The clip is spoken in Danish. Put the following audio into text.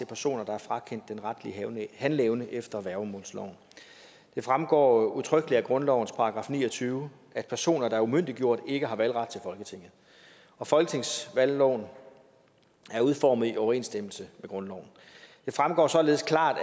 personer der er frakendt den retlige handleevne efter værgemålsloven det fremgår udtrykkeligt af grundlovens § ni og tyve at personer der er umyndiggjort ikke har valgret til folketinget og folketingsvalgloven er udformet i overensstemmelse med grundloven det fremgår således klart